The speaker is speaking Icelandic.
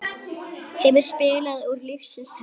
Hefur spilað úr lífsins hönd.